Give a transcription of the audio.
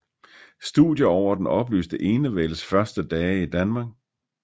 Studier over den oplyste enevældes første dage i Danmark